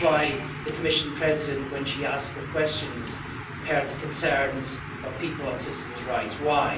That's why the Commission President, when she asked for questions, heard the concerns of people on citizens' rights. Why?